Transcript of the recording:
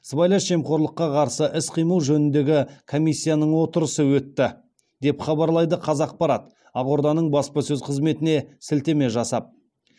сыбайлас жемқорлыққа қарсы іс қимыл жөніндегі комиссияның отырысы өтті деп хабарлайды қазақпарат ақорданың баспасөз қызметіне сілтеме жасап